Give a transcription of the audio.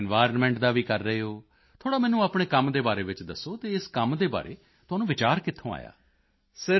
environment ਦਾ ਵੀ ਕਰ ਰਹੇ ਹੋ ਥੋੜ੍ਹਾ ਮੈਨੂੰ ਆਪਣੇ ਕੰਮ ਦੇ ਬਾਰੇ ਵਿੱਚ ਦੱਸੋ ਅਤੇ ਇਸ ਕੰਮ ਦੇ ਬਾਰੇ ਤੁਹਾਨੂੰ ਵਿਚਾਰ ਕਿੱਥੋਂ ਆਇਆ